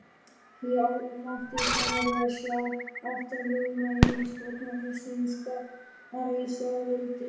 Hér mátti sannarlega sjá aftanljóma hins forna rússneska keisaraveldis!